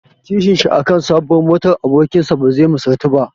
Kishinshi aka sabuwar motar abokinsa bazai misaltu ba.